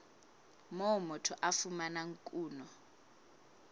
moo motho a fumanang kuno